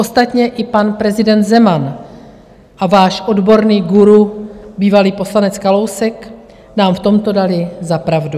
Ostatně i pan prezident Zeman a váš odborný guru, bývalý poslanec Kalousek, nám v tomto dali za pravdu.